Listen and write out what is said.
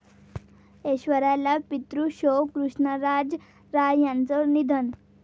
ऐश्वर्याला पितृशोक, कृष्णराज राय यांचं निधन